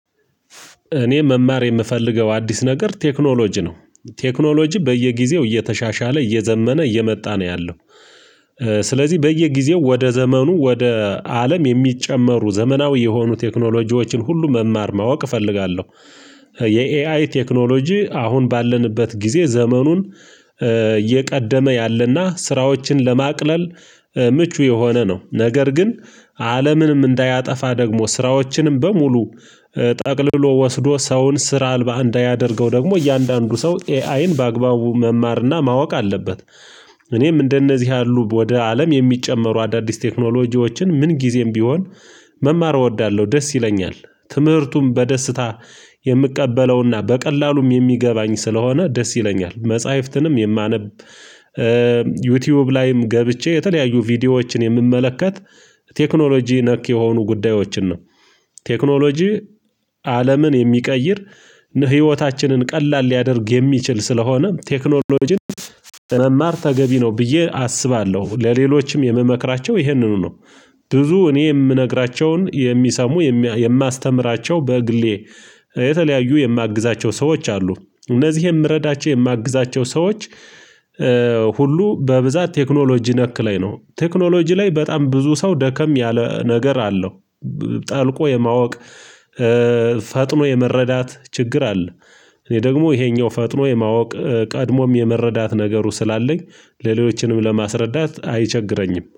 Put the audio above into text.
እኔ መማር የምፈልገው አዲስ ነገር ቴክኖሎጂ ነው ቴክኖሎጂ በየጊዜው እየተሻሻለ እየዘመነ እየመጣ ነው ያለው። ስለዚህ በየጊዜው ወደ ዘመኑ ወደ አለም የሚጨመሩ ዘመናዊ የሆኑ ቴክኖሎጂዎችን ሁሉ መማር ማወቅ እፈልጋለሁ። የኤአይ ቴክኖሎጂ አሁን ባለንበት ጊዜ ዘመኑን እየቀደመ ያለና ስራዎችን ለማቅለል ምቹ የሆነ ነው ነገር ግን አለምንም እንዳያጠፋ ደግሞ ስራዎችንም በሙሉ ጠቅልሎ ወስዶ ሰውን ስራ አልባ እንዳያደርገው ደግሞ እያንዳንዱ ሰው ኤአይን በአግባቡ መማርና ማወቅ አለበት። እኔም እንደነዚህ ያሉ ወደ አለም የሚጨመሩ አዳዲስ ቴክኖሎጂዎችን ምን ጊዜም ቢሆን መማር እወዳለሁ። ደስ ይለኛል ትምህርቱም በደስታ የምቀበለውና በቀላሉም የሚገባኝ ስለሆነ ደስ ይለኛል። መጽሐፍትንም የማነብ ዩቲዩብ ላይም ገብቼ የተለያዩ ቪዲዮዎችን የምመለከት ቴክኖሎጂ ነክ የሆኑ ጉዳዮችን ነው። ቴክኖሎጂ አለምን የሚቀይር ህይወታችንን ቀላል ሊያደርግ የሚችል ስለሆነ ቴክኖሎጂን ለመማር ተገቢ ነው ብዬ አስባለሁ ለሌሎችም የምመክራቸው ይህንኑ ነው። ብዙ እኔ የምነግራቸውን የሚሰሙ የማስተምራቸው በግሌ የተለያዩ የማግዛቸው ሰዎች አሉ። እነዚህ የምረዳቸው የማግዛቸው ሰዎች ሁሉ በብዛት ቴክኖሎጂ ነክ ላይ ነው ቴክኖሎጂ ላይ በጣም ብዙ ሰው ደከም ያለ ነገር አለው። ጠልቆ የማወቅ ፈጥኖ የመረዳት ችግር አለ። እኔ ደግሞ ይሄኛው ፈጥኖ የማወቅ ቀድሞም የመረዳት ነገሩ ስላለኝ ሌሎችንም ለማስረዳት አይቸግረኝም